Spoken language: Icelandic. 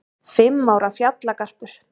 Fimm ára fjallagarpur